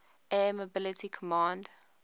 air mobility command